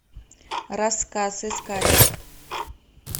рассказ искать